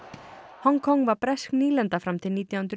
Hong Kong var bresk nýlenda fram til nítján hundruð